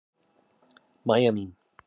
Mæja mín.